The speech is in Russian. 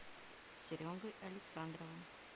серегой александровым